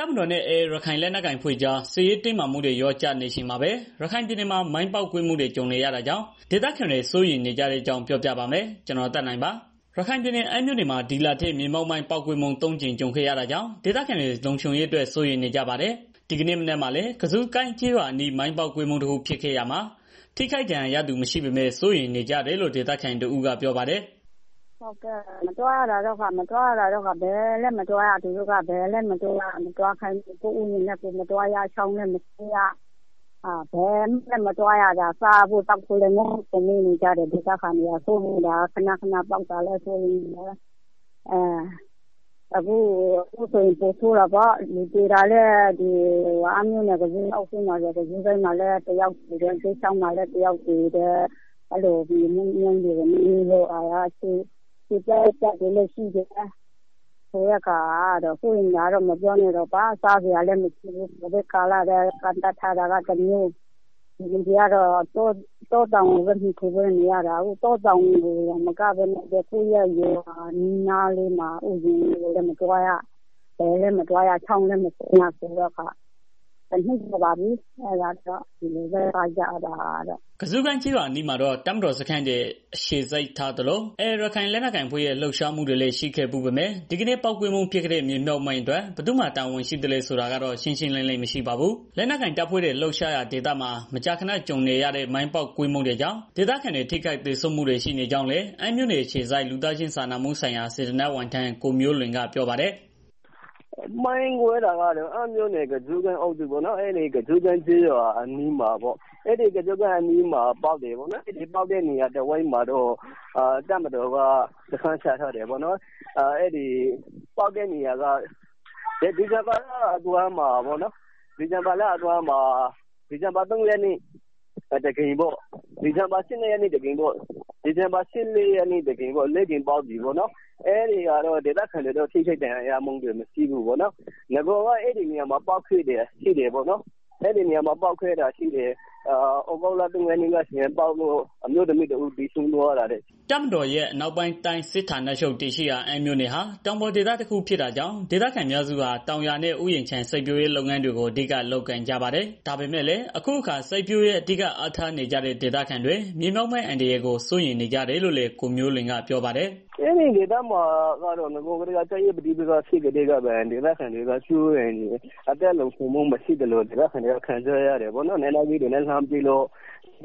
တပ်မတော်နဲ့ AA ရခိုင်လက်နက်ကိုင်အဖွဲ့ကြား စစ်ရေးတင်းမာမှုတွေ လျော့ကျနေချိန်မှာပဲ ရခိုင်ပြည်နယ်မှာ မိုင်းပေါက်ကွဲမှုတွေ ကြုံနေရတာကြောင့် ဒေသခံတွေ စိုးရိမ်နေကြတဲ့ အကြောင်း ကိုသက်နိုင် စစ်တွေမြို့ကနေ သတင်းပေးပို့ထားပါတယ်။ ရခိုင်ပြည်နယ် အမ်းမြို့နယ်မှာ ဒီလထဲ မြေမြုပ်မိုင်းပေါက်ကွဲမှု ၃ ကြိမ် ကြုံခဲ့ရတာကြောင့် ဒေသခံတွေ လုံခြုံရေးအတွက် စိုးရိမ်နေကြပါတယ်။ ဒီနေ့မနက်မှာလည်း ကဇုကိုင်းကျေးရွားအနီး မိုင်းပေါက်ကွဲမှုတခုဖြစ်ခဲ့ရာမှာ ထိခိုက်ဒဏ်ရာရသူ မရှိပေမဲ့ စိုးရိမ်နေကြတယ်လို့ ဒေသခံတဦးက ပြောပါတယ်။ “ ကျမတို့ကတော့ ဘယ်မှမသွားရဘူး။ဥယျာဉ်တွေလည်း မသွားရဘူး။ စားဖို့ သောက်ဖို့လည်း ခက်ခဲနေကြတယ်။ မိုင်းတွေလည်း ခဏခဏပေါက်တယ်။ အခုဆိုရင်ပိုဆိုးတာပေါ့ အမ်းမြို့ နယ် ကဇုကိုင်းမှာ ဆိုရင် လူသေတာလည်း ရှိတယ်။ မြေမြုပ်မိုင်းတွေကို နှင်းမိလို့ ခြေပြတ် လက်ပြတွေလည်းရှိတယ်။ စိုးရိမ်တာကတော့ မပြောနဲ့တော့ စားစရာလည်းမရှိ ကိုဗက်ကာလ ကန့်သတ်ထားတာကတစ်မျိုး။ ဒီကလူတွေကတော့ တောတောင်တွေကိုပဲ မှီခိုပြီးနေရတာ အခုက တောတောင်တင်မက ကိုယ့်ရဲ့ ရွာနီးနားလေးမှာ ရှိတဲ့ ဥယျာဉ်တွေလည်း မသွားရ ဘယ်မှမသွားရတာ တစ်နှစ်ကျော်ပါပြီ။” ကုဇုကိုင်းကျေးရွာအနီးမှာတော့ တပ်မတော်စခန်းတွေ အခြေစိုက်ထားသလို၊ AA ရခိုင်လက်နက်ကိုင် အဖွဲ့ရဲ့ လှုပ်ရှားမှုတွေလည်း ရှိခဲ့ဖူးပေမဲ့ ဒီကနေ့ ပေါက်ကွဲမှုဖြစ်ခဲ့တဲ့ မြေမြှုုပ်မိုင်းအတွက် ဘယ်သူ့မှာ တာဝန်ရှိသလဲ ဆိုတာကတော့ ရှင်းရှင်းလင်းလင်း မရှိပါဘူး။ လက်နက်ကိုင်တပ်ဖွဲ့တွေ လှုပ်ရှားရာဒေသမှာ မကြာခဏကြုံနေရတဲ့ မိုင်းပေါက်ကွဲမှုတွေကြောင့် ဒေသခံတွေ ထိခိုက်သေဆုံးမှုတွေရှိနေကြောင်းလည်း အမ်းမြို့နယ် အခြေစိုက် လူသားချင်းစာနာမှုဆိုင်ရာ စေတနာ့ဝန်ထမ်း ကိုမျိုးလွင်ကပြောပါတယ်။ “ မိုင်းကွဲတာကတော့ အမ်းမြို့နယ် ကဇုကိုင်းကျေးရွာပေါ့နော်။ အဲဒီကျေးရွာ အနီးမှာ ပေါက်တယ်ပေါ့နော်။ ပေါက်တဲ့ နေရာအနီးမှာတော့ တပ်မတော်က စခန်းချထားတယ်ပေါ့နော်။ ဒီဇင်ဘာလအတွင်းမှာ ၃ရက်နေ့က တစ်ကြိမ် ၁၂ရက်နေ့တကြိမ် ဒီဇင်ဘာ ၁၄ရက် နေ့တကြိမ်ပေါ့နော်။ အရင်ကလည်းည အဲဒီနေရာတွေမှာ မိုင်းပေါက်ခဲ့တာ ရှိတယ်။ ပြီးခဲ့တဲ့ သြဂုတ်လ ၃ရက်နေ့က မိုင်းပေါက်ပြီးတော့ အမျိုးသမီးတစ်ဦး သေဆုံးသွား တယ်ပေါ့ နော်။” တပ်မတော်ရဲ့ အနောက်ပိုင်းတိုင်းစစ်ဌာနချုပ်တည်ရှိရာ အမ်းမြို့နယ်ဟာ တောင်ပေါ်ဒေသတခုဖြစ်တာကြောင့် ဒေသခံအများစုဟာ တောင်ယာနဲ့ ဥယျာဉ်ခြံ စိုက်ပျိုးရေးလုပ်ငန်းတွေကို အဓိကလုပ်ကိုင်ကြပါတယ်။ ဒါပေမဲ့လည်း အခုအခါ စိုက်ပျိုးရေး အဓိက အားထားနေကြတဲ့ ဒေသခံတွေ မြေမြှုပ်မိုင်းအန္တရာယ်ကို စိုးရိမ်နေကြတယ်လို့လည်း ကိုမျိုးလွင်ကပြောပါတယ်။ “ အဲဖက်မှာတော့ နဂိုကတည်းက စစ်ရေးပဋိပက္ခတွေ ရှိကတည်းပင် ဒေသခံတွေက စိုးရိမ်နေကြတယ်။ အသက်လုံခြုံမှူ မရှိသလို ဒေသခံတွေက ခံစားရတယ်။ လက်နက်ကြီးတွေနဲ့ လှမ်းပစ်ပြီးတော့